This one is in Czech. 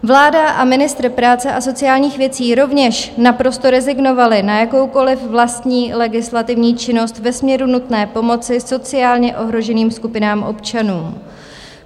Vláda a ministr práce a sociálních věcí rovněž naprosto rezignovali na jakoukoliv vlastní legislativní činnost ve směru nutné pomoci sociálně ohroženým skupinám občanů.